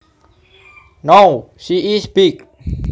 Now she is big